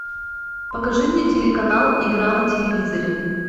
покажи мне телеканал игра на телевизоре